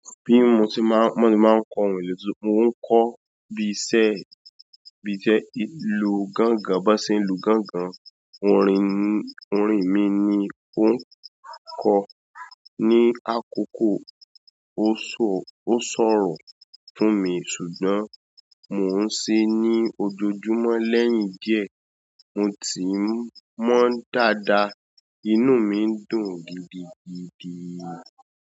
Bí mo tí máa ń mọ́ ni máa ń kọ orin ìlú tún, mo ń kọ bí iṣẹ́ bí iṣẹ́ ìlù gángan, bá ṣe ń lù gángan, orin ni, orin mi ni ó ń kọ ní àkókò. O. Ó ṣọ, ó sọ̀rọ̀ fún mi ṣùgbọ́n mò ń ṣe ní ojoojúmọ́ lẹ́yìn díẹ̀ mo tí ń mọ̀ dáadáa, inú mi ń dùn gidigidi o.